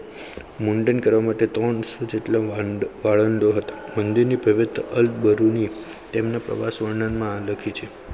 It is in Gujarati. મુંડન કરો ટેટોન One-Hundred જેટલા ભાઈબંધીની પવિત્ર અલ બરુની તેમના પ્રવાસ વર્ણનમાં લખી છે.